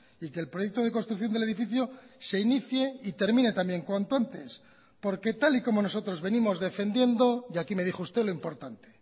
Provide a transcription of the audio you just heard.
y que el proyecto de construcción del edificio se inicie y termine también cuanto antes porque tal y como nosotros venimos defendiendo y aquí me dijo usted lo importante